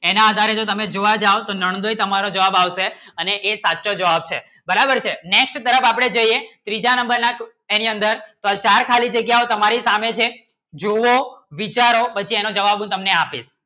એના આધારે જો તો તમે જોવા જાવો તો નંદોઈ તમારો જવાબ આવશે એનો એ સાચો જવાબ છે બરાબર કે Next તરફ આપણે જઈયે ત્રીજા નંબર ના એની અંદર પણ ચાર ખાલી જાગ્યાઓ તમારી સામે છે જુઓ વિચારો પછી એનો જવાબ હું તને આપીશ.